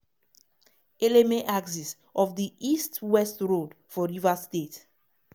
eleme axis of di east-west road for rivers state.